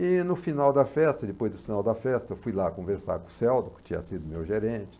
E no final da festa, depois do final da festa, eu fui lá conversar com o Celdo, que tinha sido meu gerente.